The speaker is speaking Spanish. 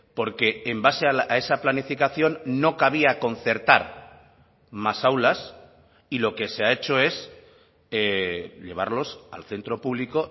porque en base a esa planificación no cabía concertar más aulas y lo que se ha hecho es llevarlos al centro público